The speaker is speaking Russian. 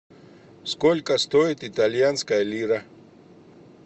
сколько стоит итальянская лира